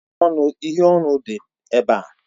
Uhiè ọnụ dị ebe a.